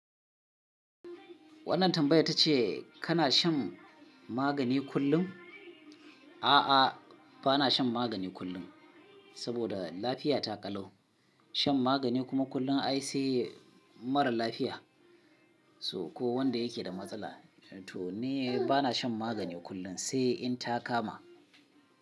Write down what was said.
Wannan tambayar tace kana shan magani kullum? A'a, bana shan magani kullum, saboda lafiya ta ƙalau. Shan magani kuma kullum ai sai marar lafiya so ko wanda yakeda matsala. Toni bana shan magani kullum sai in ta kama.